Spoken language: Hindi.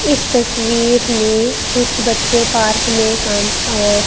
इस तस्वीर में कुछ बच्चे पार्क में काम अ--